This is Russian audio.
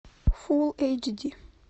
фул эйч ди